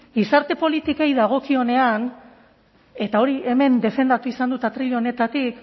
gizarte politikei dagokienean eta hori hemen defendatu izan dut atril honetatik